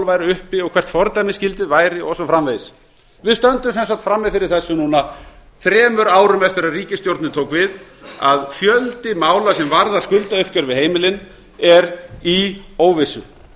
væru uppi og hvert fordæmisgildið væri og svo framvegis við stöndum sem sagt frammi fyrir þessu núna þremur árum eftir að ríkisstjórnin tók við að fjöldi mála sem varðar skuldauppgjör við heimilin er í óvissu